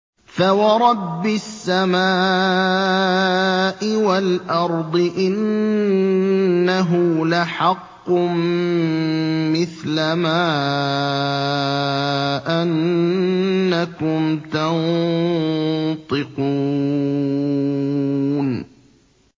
فَوَرَبِّ السَّمَاءِ وَالْأَرْضِ إِنَّهُ لَحَقٌّ مِّثْلَ مَا أَنَّكُمْ تَنطِقُونَ